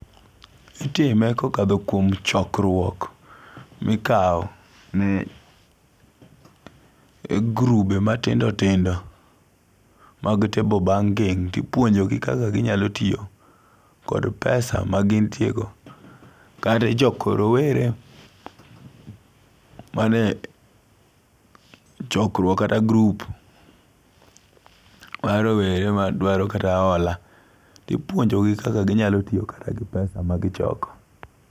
Itime kokadho kuom chokruok mikawo ne grube matindo tindo mag table banking tipuonjo gi kaka ginyalo tiyo kod pesa ma gintie go. Kare joko rowere mane chokruok kate grup ma rowere madwaro kata hola ipuonjo gi kaka ginyalo tiyo kata gi pesa ma gichoko.